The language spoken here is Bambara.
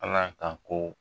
Ala ka ko